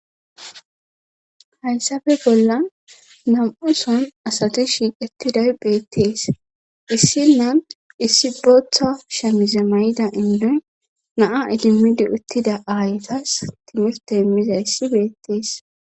Hayssafe bolla nam7u son asati shiiqetiday beettees issinna issi booththa shamize mayida indoy naa ilimidi uttida aayetas timifte immizayssi beettees.